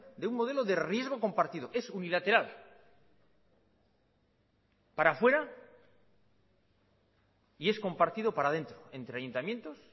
de un modelo de riesgo compartido es unilateral para afuera y es compartido para adentro entre ayuntamientos